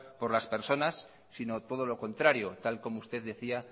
por las personas sino todo lo contrario tal como usted decía